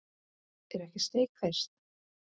Er ekki steik fyrst?